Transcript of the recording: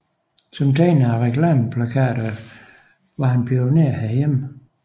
Som tegner af reklameplakater var han pioner herhjemme